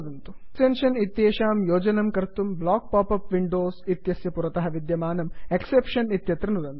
exception इत्येतेषां योजनं कर्तुं block pop up windows block pop up windows इत्यस्य पुरतः विद्यमानं एक्सेप्शन्स् एक्सेप्षन् इति इत्यत्र नुदन्तु